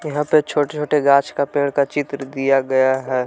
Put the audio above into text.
यहां पे छोटे छोटे घास का पेड़ का चित्र दिया गया है।